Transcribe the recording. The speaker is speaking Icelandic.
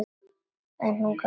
En hún gafst ekki upp.